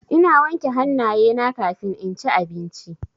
Ina wanke hannayena kafin inci abinci.